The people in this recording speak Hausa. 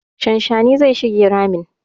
Shanshanin zai shige ramin.